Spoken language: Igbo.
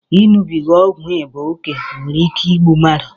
Iṅụbiga ọgwụ ịba oke nwere ike igbu mmadụ